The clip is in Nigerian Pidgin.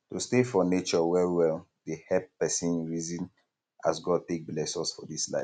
to stay for nature wellwell dey help pesin reason as god take bless us for dis life